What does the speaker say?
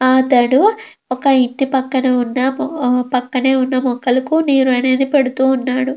అతడు ఒక ఇంటి పక్కనే ఉన్న పక్కనే ఉన్న మొక్కలకు నీరు అనేది పెడుతూ ఉన్నాడు.